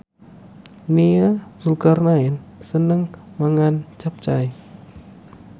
Nia Zulkarnaen seneng mangan capcay